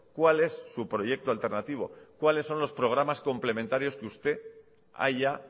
cuál es su proyecto alternativo cuáles son los programas complementarios que usted haya